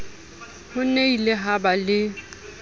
ho nnile ha ba le